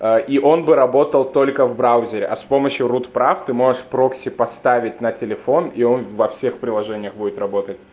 а и он бы работал только в браузере а с помощью рут-прав ты можешь прокси поставить на телефон и он во всех приложениях будет работать